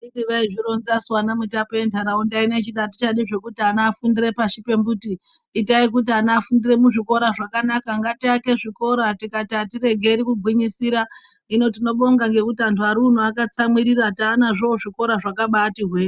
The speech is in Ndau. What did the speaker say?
Anditi vaizvironzasu ana mutape ventaraunda ino vachiti atichazvidi zvekuti ana afundire pashi pemuti itai kuti ana afundire muzvikora zvakanaka ngatiake zvikora tikati atiregeri kugwinyisira hino tinobonga ngekuti antu ari uno akatsamwirira taanazvo zvikora zvakabati hwe.